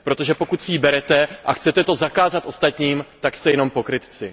Protože pokud si ji berete a chcete to zakázat ostatním, tak jste jenom pokrytci.